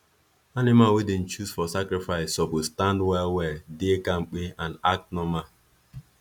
animal wey them choose for sacrifice suppose stand well well dey kampe and act normal